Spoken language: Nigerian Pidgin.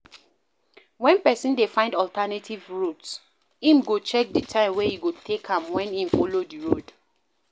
When person dey find alternative route im go check di time wey e go take am when im follow di road